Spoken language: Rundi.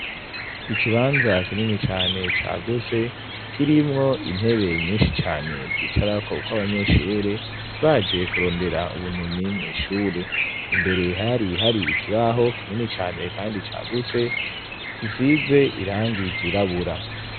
ikibanza kinini cane cagutse kirimwo intebe nyinshi cane zicara ko ko abanyeshure baje kurondera ubumenyi mw'ishure imbere hari hari ikibaho kinini cane kandi cagutse gisize irangi ryirabura